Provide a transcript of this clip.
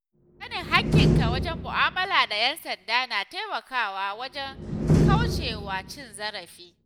Sanin haƙƙinka wajen mu’amala da ‘yan sanda na taimakawa wajen kauce wa cin zarafi.